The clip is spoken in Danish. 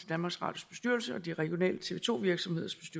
danmarks radios bestyrelse og de regionale tv to virksomheders